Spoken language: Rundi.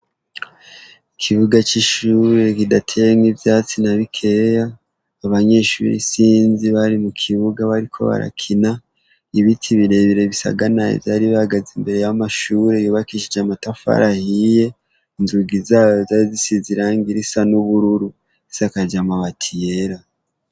Ikibuga c'ishure kidateyemwo ivyatsi na bikeya. Abanyeshuri isinzi bari mu kibuga bariko barakina. Ibiti birebire bisaganaye vyari bihagaze imbere y'amashure yubakishije amatafari ahiye, inzugi zayo zari zisize irangi risa n'ubururu zisakaje amabati yera.